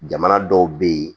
Jamana dɔw bɛ yen